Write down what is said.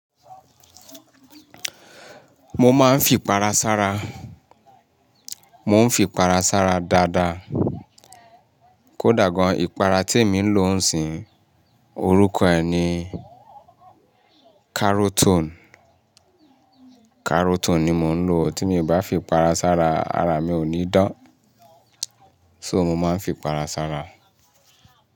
Mo máa ń fi para sára. Mo ń fi para sára dáadáa. Kódà gan, ìpara tí mò ń lò ń sìn, orúkọ ẹ̀ ni Karotone. Karotone ni mò ń lò. Tí mi o bá fi para sára, ara mi ò ní dán. So mò máa ń fi para sára.